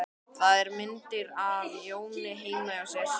Það eru myndir af afa Jóni heima hjá henni.